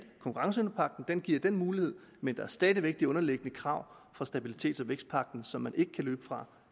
at konkurrenceevnepagten giver den mulighed men der er stadig væk de underliggende krav fra stabilitets og vækstpagten som man ikke kan løbe fra